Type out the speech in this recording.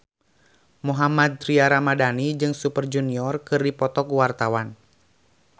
Mohammad Tria Ramadhani jeung Super Junior keur dipoto ku wartawan